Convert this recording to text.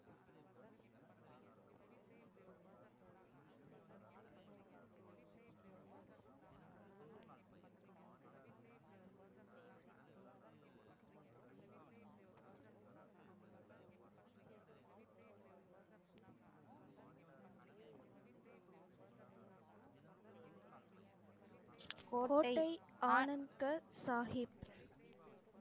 கோட்டை ஆனந்த சாஹிப்